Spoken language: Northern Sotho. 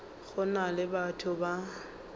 go na le batho ba